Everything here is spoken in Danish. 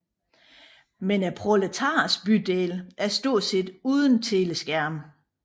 Men proletarernes bydele er stort set uden teleskærme